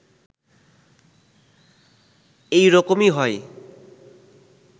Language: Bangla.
এই রকমি হয়